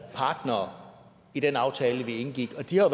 partnere i den aftale vi indgik og de har